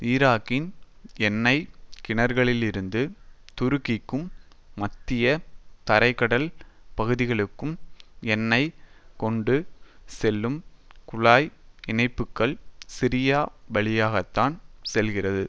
ஈராக்கின் எண்ணெய் கிணறுகளிலிருந்து துருக்கிக்கும் மத்திய தரை கடல் பகுதிகளுக்கும் எண்ணெயை கொண்டு செல்லும் குழாய் இணைப்புகள் சிரியா வழியாகத்தான் செல்கிறது